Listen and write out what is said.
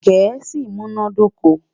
gèésì mí múná dóko